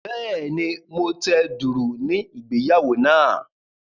Bẹ́ẹ̀ni, mo tẹ dùùrù ní ìgbéyàwó náà.